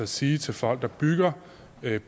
sige til folk der bygger